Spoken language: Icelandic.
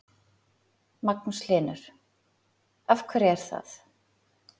Magnús Hlynur: Af hverju er það?